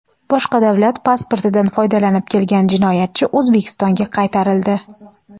boshqa davlat pasportidan foydalanib kelgan jinoyatchi O‘zbekistonga qaytarildi.